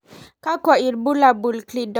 kakwa ibulabul ) Cleidorhizomelic syndrome.